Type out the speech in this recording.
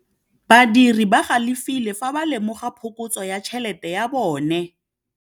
Badiri ba galefile fa ba lemoga phokotsô ya tšhelête ya bone.